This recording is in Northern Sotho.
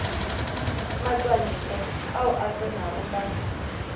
matšwantle ao a tsenego ka